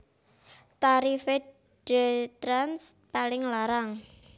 Tarife DayTrans paling larang